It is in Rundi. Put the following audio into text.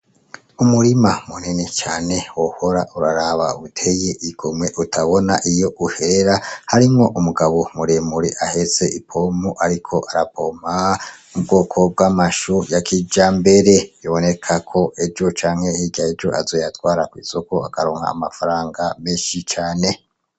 Umurima munini cane wohora uraraba uteye igomwe utabona iyo uhera harimwo umugabo muremure ahetse ipompo ariko arapompa ubwoko bw’amashu ya kijambere, biboneka ko ejo canke hirya y’ejo azoyatwara kw’isoko akaronka amafaranga menshi cane.